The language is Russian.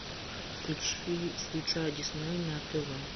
включи включай дисней на тв